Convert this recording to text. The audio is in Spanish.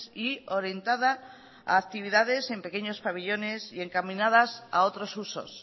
y orientada a actividades en pequeños pabellones y encaminadas a otros usos